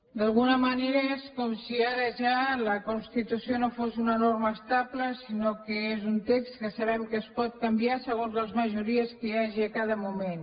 d’alguna manera és com si ara ja la constitució no fos una norma estable sinó que és un text que sabem que es pot canviar segons les majories que hi hagi en cada moment